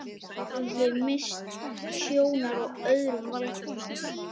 Ég hafði misst sjónar á öðrum valkostum.